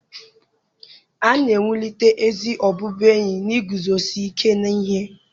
A na-ewulite ezi ọbụbụenyi n'iguzosi ike n'ihe